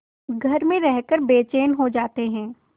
घर में रहकर बेचैन हो जाते हैं